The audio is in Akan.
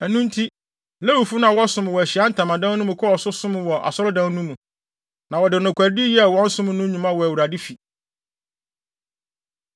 Ɛno nti, Lewifo no a na wɔsom wɔ Ahyiae Ntamadan no mu kɔɔ so som wɔ Asɔredan no mu. Na wɔde nokwaredi yɛɛ wɔn som no nnwuma wɔ Awurade fi.